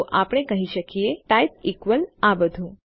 તો આપણે કહી શકીએ ટાઇપ ઇક્વલ્સ આ બધું